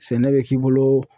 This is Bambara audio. Sɛnɛ be k'i bolo